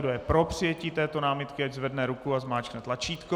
Kdo je pro přijetí této námitky, ať zvedne ruku a zmáčkne tlačítko.